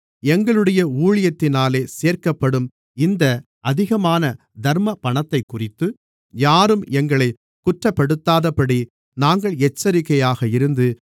எங்களுடைய ஊழியத்தினாலே சேர்க்கப்படும் இந்த அதிகமான தர்மப்பணத்தைக்குறித்து யாரும் எங்களைக் குற்றப்படுத்தாதபடி நாங்கள் எச்சரிக்கையாக இருந்து